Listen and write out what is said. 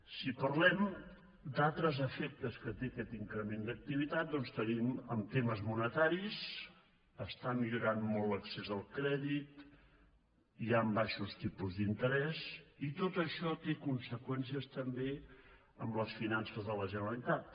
si parlem d’altres efectes que té aquest increment d’activitat doncs tenim en temes monetaris que està millorant molt l’accés al crèdit hi han baixos tipus d’interès i tot això té conseqüències també en les finances de la generalitat